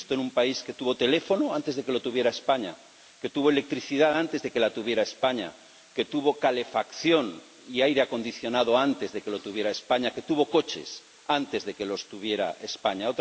Esto en un país que tuvo teléfono antes de que lo tuviera España, que tuvo electricidad antes de que la tuviera España, que tuvo calefacción y aire acondicionado antes de que los tuviera España, que tuvo coches antes de que los tuviera España.